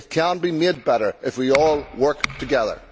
They can be made better if we all work together.